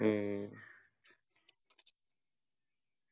ഉം